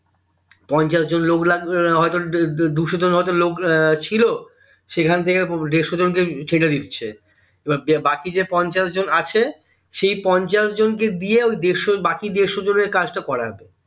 পঞ্চাশ জন লোক লাগবে হয়তো দুশো জন লোক ছিল সেখান থেকে দেড়শো জন ছেটে দিচ্ছে এবার বাকি যে পঞ্চাশ জন আছে সেই পঞ্চাশ জন কে দিয়ে ওই দেড়শো বাকি দেড়শো জনের কাজটা করবে